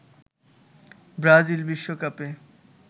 Brazil বিশ্বকাপে